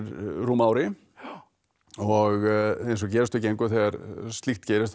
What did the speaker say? rúmu ári og eins og gerist og gengur þegar slíkt gerist þá